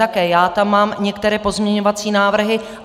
Také já tam mám některé pozměňovací návrhy.